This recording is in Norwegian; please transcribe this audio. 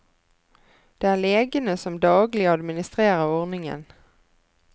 Det er legene som daglig administrerer ordningen.